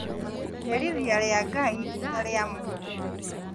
Iherithia rĩa Ngai ti ta rĩa andũ